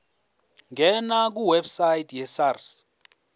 ngena kwiwebsite yesars